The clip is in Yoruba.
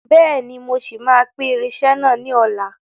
Bẹ́ẹ̀ni, mo ṣì máa pín irinsẹ́ náà ni ọ̀la.